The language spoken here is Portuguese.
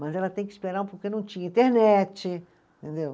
Mas ela tem que esperar um pouco, e não tinha internet, entendeu?